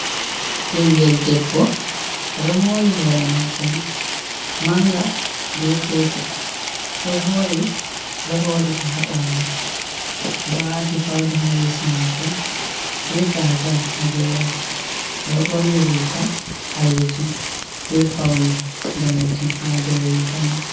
Ɓingel debbo oɗo mori hore mako mai manga be petel ɗo voɗi oɗo horika ha ɓawo, oɗo wati fauda ha yeso mako be gazal ha geram oɗo ɓorni rika ɓalejum be paune danejum ha dou riga mai.